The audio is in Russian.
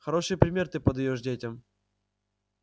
хороший пример ты подаёшь детям